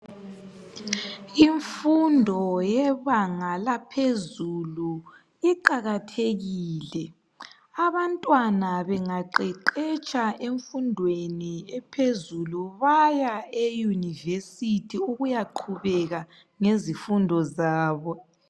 Imfundo yebanga laphezulu iqakathekile .Abantwana bangaqeqetsha emfundweni ephezulu baya eUniversity ukuya qhubeka ngezifundo zabo.